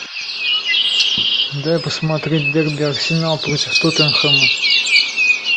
дай посмотреть дерби арсенал против тоттенхэма